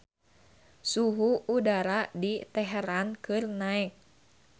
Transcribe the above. Suhu udara di Teheran keur naek